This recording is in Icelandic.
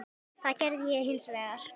Það gerði ég hins vegar.